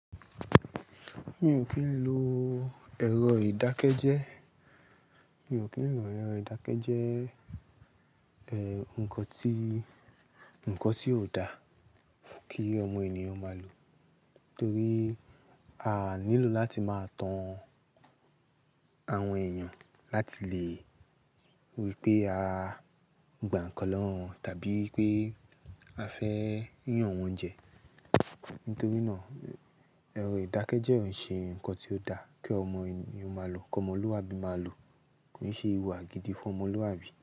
Mi ò kí ń lo ẹ̀rọ ìdákẹ́jẹ́. Mi ò kí ń lo ẹ̀rọ ìdákẹ́jẹ́, nǹkan tí, nǹkan tí ò dá kí ọmọ ènìyàn máa lò. Nítorí a nílò láti máa tan àwọn ẹ̀yàn láti lè wípé a gbà nǹkan lọ́wọ́ wọn tàbí pé a fẹ́ yàn wọ́n jẹ. Nítorí na ẹ̀rọ ìdákẹ́jẹ́ ò ṣe nkan tí ó dá kí ọmọ ènìyàn máa lò, kí ọmọlúàbí máa lò. Kò ṣe ìhùwà gidi fún ọmọlúàbí.